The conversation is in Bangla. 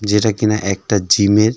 যেটা কিনা একটা জিমের।